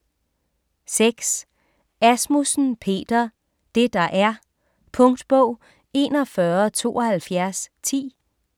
6. Asmussen, Peter: Det der er Punktbog 417210